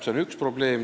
Seda esiteks.